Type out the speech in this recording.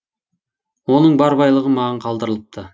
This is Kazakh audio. оның бар байлығы маған қалдырылыпты